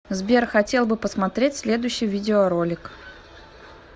сбер хотел бы посмотреть следущий видеоролик